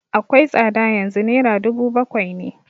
Akwai tsada yanzu, naira dubu bakwai ne